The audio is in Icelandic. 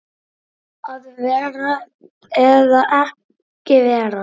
Að vera eða ekki vera?